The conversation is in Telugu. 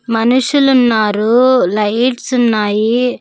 మనుషులున్నారు లైట్స్ ఉన్నాయి.